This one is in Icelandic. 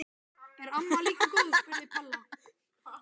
Er amma líka góð? spurði Palla.